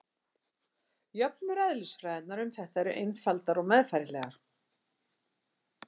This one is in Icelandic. Jöfnur eðlisfræðinnar um þetta eru einfaldar og meðfærilegar.